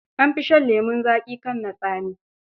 An fi shan lemon zaƙi kan na tsami.